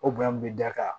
O bonya min bɛ da kan